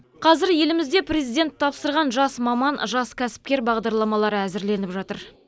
қазір елімізде президент тапсырған жас маман жас кәсіпкер бағдарламалары әзірленіп жатыр